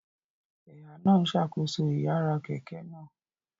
Ẹ̀há náà ń ṣàkóso ìyára kẹ̀kẹ́ náà